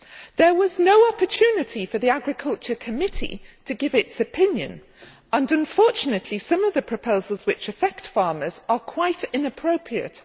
There was no opportunity for the Agriculture Committee to give its opinion and, unfortunately, some of the proposals that affect farmers are quite inappropriate.